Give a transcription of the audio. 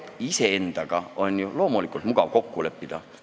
Iseendaga on loomulikult mugav kokku leppida.